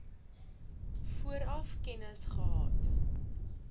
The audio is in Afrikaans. vooraf kennis gehad